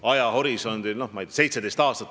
Tema väites oli näiteks 17 aastat.